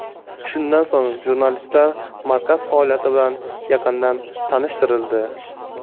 Shundan so‘ng, jurnalistlar markaz faoliyati bilan yaqindan tanishtirildi.